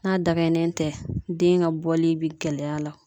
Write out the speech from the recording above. N'a dakɛɲɛlen tɛ , den ka bɔli bɛ gɛlɛya la